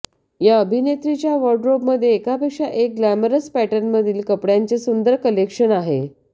या अभिनेत्रीच्या वॉर्डरोबमध्ये एकापेक्षा एक ग्लॅमरस पॅटर्नमधील कपड्यांचे सुंदर कलेक्शन आहे